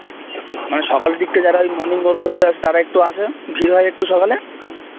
মানে সকালের দিকটা যারা ওই morning walk করতে আসে তারা একটু আসে ভির হয় একটু সকালে